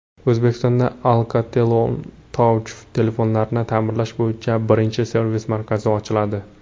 O‘zbekistonda AlcatelOneTouch telefonlarini ta’mirlash bo‘yicha birinchi servis markazi ochiladi.